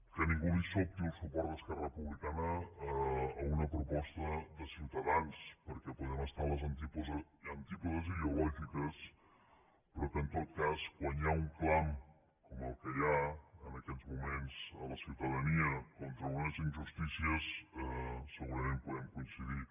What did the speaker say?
que a ningú li sobti el suport d’esquerra republicana a una proposta de ciutadans perquè podem estar a les antípodes ideològiques però que en tot cas quan hi ha un clam com el que hi ha en aquest moment en la ciutadania contra unes injustícies segurament podem coincidir